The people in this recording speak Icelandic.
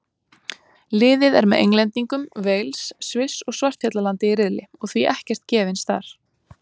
Liðið er með Englendingum, Wales, Sviss og Svartfjallalandi í riðli og því ekkert gefins þar.